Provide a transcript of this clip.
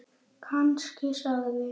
Kannski sagði